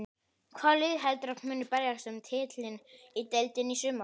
Hvaða lið heldurðu að muni berjast um titilinn í deildinni í sumar?